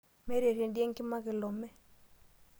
Meeta erendio enkima kilome.